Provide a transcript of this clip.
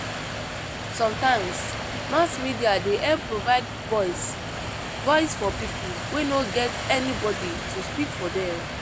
Sometimes mass media dey help provide voice voice for people wey no get anybody to speak for them.